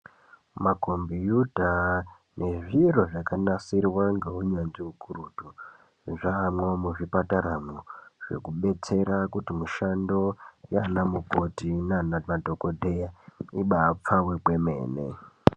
Makombiyuta nezviro zvakanasirwa ngeunyanzvi ukurutu. Zvamwo muzvipataramwo zvekubetsera kuti mishando yaana mukoti nana madhoodheya, ibaa pfave kwemene.